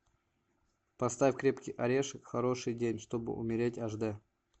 поставь крепкий орешек хороший день чтобы умереть аш дэ